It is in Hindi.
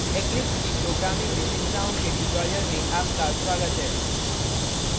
eclipse की programming विशेषताओं के tutorial में आपका स्वागत है